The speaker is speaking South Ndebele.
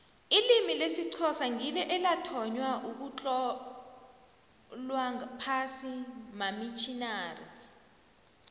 ilimi lesixhosa ngilo elathonywa ugutlolwa phasi mamitjinari